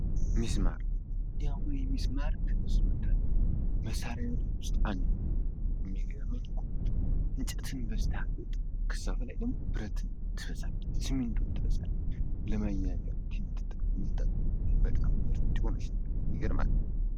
ሚስማር ሚስማር ከግንባታ መሳሪያዎች ውስጥ አንዱ ነው የሚገርመኝ ነገር እኮ ከያዘ አይለቅም በዛ ላይ ደግሞ ብረት የሆነ እና በሲሚንቶ ነገሮችን ማጣበቅ የሚችል ይገርማል።